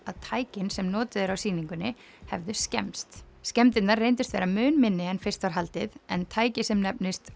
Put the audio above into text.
að tækin sem notuð eru á sýningunni hefðu skemmst skemmdirnar reyndust vera mun minni en fyrst var haldið en tæki sem nefnist